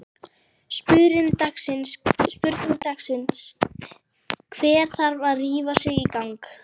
Spurning dagsins: Hver þarf að rífa sig í gang?